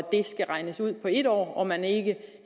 skal regnes ud for en år og at man ikke